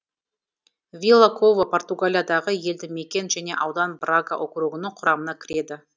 вила кова португалиядағы елді мекен және аудан брага округінің құрамына кіреді